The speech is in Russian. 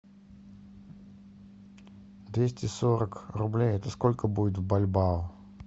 двести сорок рублей это сколько будет в бальбао